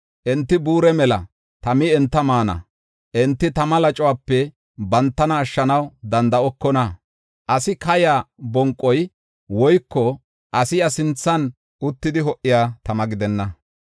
Enti buure mela; tami enta maana. Enti tama lacuwape bantana ashshanaw danda7okona. Asi kayaa bonqoy woyko asi iya sinthan uttidi ho77iya tama gidenna.